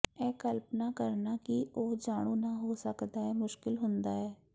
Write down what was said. ਇਹ ਕਲਪਨਾ ਕਰਨਾ ਕਿ ਉਹ ਜਾਣੂ ਨਾ ਹੋ ਸਕਦਾ ਹੈ ਮੁਸ਼ਕਲ ਹੁੰਦਾ ਹੈ